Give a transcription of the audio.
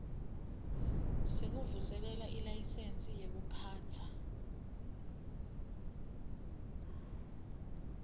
sekuvuselela ilayisensi yekuphatsa